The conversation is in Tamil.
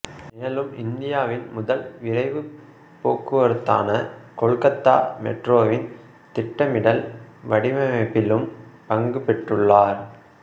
மேலும் இந்தியாவின் முதல் விரைவுப் போக்குவரத்தான கொல்கத்தா மெட்ரோவின் திட்டமிடல் வடிவமைப்பிலும் பங்குபெற்றுள்ளார்